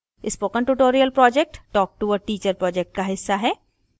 spoken tutorial project talk to a teacher project का हिस्सा है